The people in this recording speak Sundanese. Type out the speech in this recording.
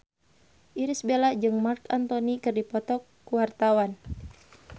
Irish Bella jeung Marc Anthony keur dipoto ku wartawan